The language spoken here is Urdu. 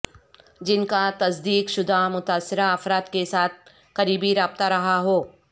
جن کا تصدیق شدہ متاثرہ افراد کے ساتھ قریبی رابطہ رہا ہو